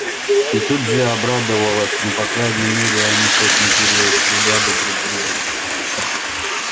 и тут же обрадовалась ну по крайней мере они хоть не перестреляли друг друга